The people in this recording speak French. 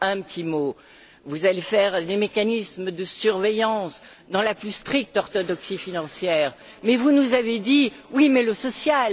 Un petit mot vous allez mettre en place les mécanismes de surveillance dans la plus stricte orthodoxie financière, mais vous nous avez dit oui, mais le social